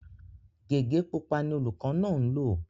Gégé pupa ni olùkọ́ náà ń lò